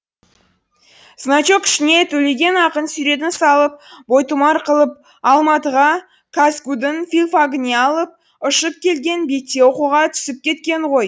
значок ішіне төлеген ақын суретін салып бойтұмар қылып алматыға казгу дың филфагіне алып ұшып келген бетте оқуға түсіп кеткен ғой